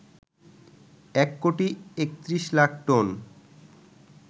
এক কোটি ৩১ লাখ টন